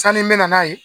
Sanni n bɛ na n'a ye